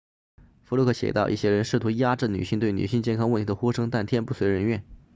福禄克写道一些人试图压制女性对女性健康问题的呼声但天不遂人愿